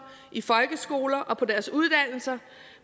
i folkeskolen og på deres uddannelser